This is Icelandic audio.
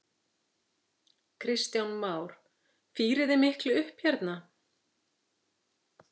Kristján Már: Fírið þið miklu upp hérna?